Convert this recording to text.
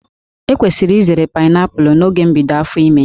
E kwesịrị izere paịnaịpụlụ n'oge mbido áfò ìmè.